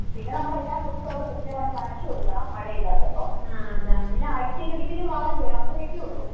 പിന്നെ നമ്മള് എല്ലാ ദിവസവും അത് കൃത്യമായിട്ട് നനച്ച് കൊടുക്കണം മഴയില്ലാത്തപ്പോ പിന്നെ ആഴ്ചയില് ഒരിക്കല് വളം ചെയ്യണം അത്രയൊക്കെ ഉള്ളു.